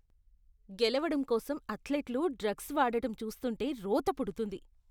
గెలవడం కోసం అథ్లెట్లు డ్రగ్స్ వాడటం చూస్తుంటే రోత పుడుతుంది.